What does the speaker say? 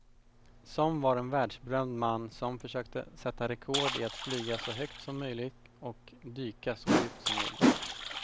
Som var en världsberömd man som försökte sätta rekord i att flyga så högt som möjligt och dyka så djupt som möjligt.